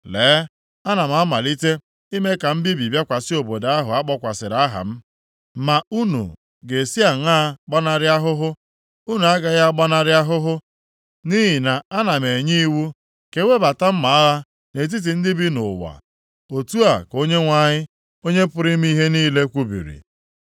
Lee, ana m amalite ime ka mbibi bịakwasị obodo ahụ a kpọkwasịrị aha m. Ma unu ga-esi aṅaa gbanarị ahụhụ? Unu agaghị agbanarị ahụhụ, nʼihi na ana m enye iwu ka e webata mma agha nʼetiti ndị niile bi nʼụwa. Otu a ka Onyenwe anyị, Onye pụrụ ime ihe niile kwubiri.’